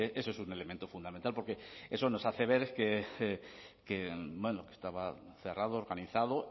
eso es un elemento fundamental porque eso nos hace ver que bueno que estaba cerrado organizado